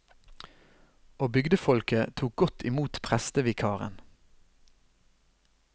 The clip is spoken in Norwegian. Og bygdefolket tok godt imot prestevikaren.